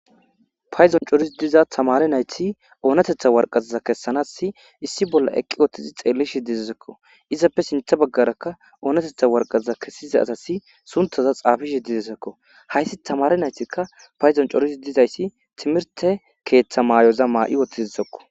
Payido coori diza tamare nayti onatetha wariqatey kesanasi issi bolla eqi utizi xelishedizako izape sinitha bagaraka onatetha wariqatey adezi sunitha xapishe dizisko Hays tamare naytika payido cooridi dizayis timhirit ketha mayoza mayi utiziko